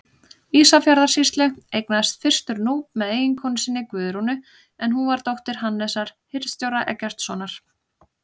Ísafjarðarsýslu, eignaðist fyrstur Núp með konu sinni, Guðrúnu, en hún var dóttir Hannesar hirðstjóra Eggertssonar.